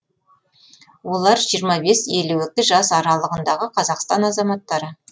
олар жиырма бес елу екі жас аралығындағы қазақстан азаматтары